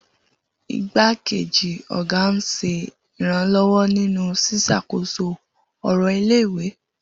Igbákejì ọ̀gá ń ṣe ìrànlọ́wọ́ nínú ṣíṣàkóso ọ̀rọ̀ ilé-ìwé.